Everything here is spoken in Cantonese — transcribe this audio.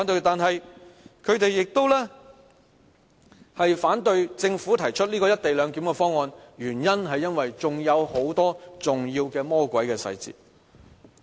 但是，他們反對政府提出"一地兩檢"的方案，原因是還有很多重要的魔鬼細節。